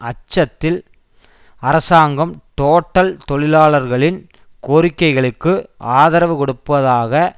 அச்சத்தில் அரசாங்கம் டோட்டல் தொழிலாளர்களின் கோரிக்கைகளுக்கு ஆதரவு கொடுப்பதாக